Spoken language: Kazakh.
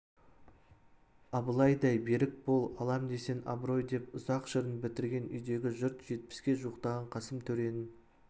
абылайдай берік бол алам десең абырой деп ұзақ жырын бітірген үйдегі жұрт жетпіске жуықтаған қасым төренің